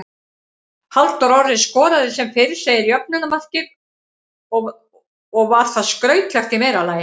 Halldór Orri skoraði sem fyrr segir jöfnunarmarkið og var það skrautlegt í meira lagi.